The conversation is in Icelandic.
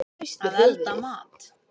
Að elda mat.